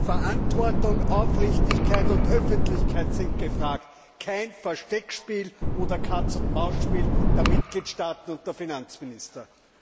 Verantwortung, Aufrichtigkeit und Öffentlichkeit sind gefragt, kein Versteckspiel oder Katz und Maus Spiel der Mitgliedstaaten und der Finanzminister!